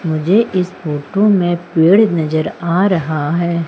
मुझे इस फोटो में पेड़ नजर आ रहा है।